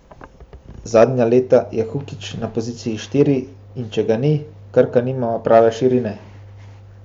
Zadnja leta je Hukić na poziciji štiri in če ga ni, Krka nima prave širine.